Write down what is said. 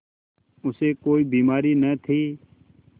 उसे कोई बीमारी न थी